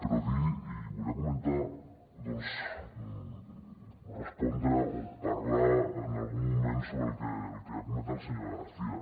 però dir i volia comentar respondre o parlar en algun moment sobre el que ha comentat la senyora garcía